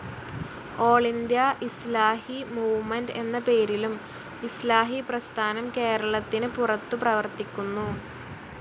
All India Islahi movement എന്നപേരിലും Islahi പ്രസ്ഥാനം കേരളത്തിന് പുറത്തു പ്രവർത്തിക്കുന്നു.